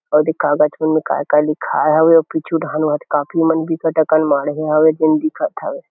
अउ दीखावत उन्मे काये-काये लिखाय हवे अउ पीछू डाहन काफी मन भी बिकट अकान मधे हावे जेन ह दिखत हवे ।